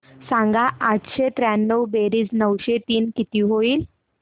सांग आठशे त्र्याण्णव बेरीज नऊशे तीन किती होईल